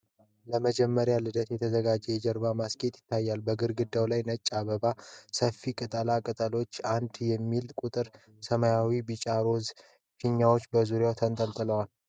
ለመጀመሪያ ልደት የተዘጋጀ የጀርባ ማስጌጫ ይታያል። በግድግዳው ላይ ነጭ አበባ፣ ሰፊ ቅጠላ ቅጠልና '1' የሚል ቁጥር አለ። ሰማያዊ፣ ቢጫና ሮዝ ፊኛዎች በዙሪያው ተንጠልጥለዋል።